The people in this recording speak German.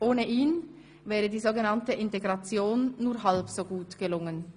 Ohne ihn wäre die so genannte Integration nur halb so gut gelungen.